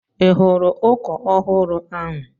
I hụru ụkọ ọhụrụ ahụ?